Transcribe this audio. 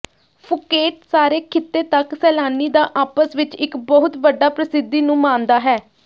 Phuket ਸਾਰੇ ਖਿੱਤੇ ਤੱਕ ਸੈਲਾਨੀ ਦਾ ਆਪਸ ਵਿੱਚ ਇੱਕ ਬਹੁਤ ਵੱਡਾ ਪ੍ਰਸਿੱਧੀ ਨੂੰ ਮਾਣਦਾ ਹੈ